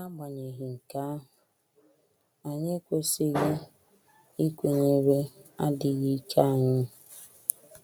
N’agbanyeghị nke ahụ, anyị ekwesịghị ikwenyere adịghị ike anyị.